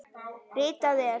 Ritað er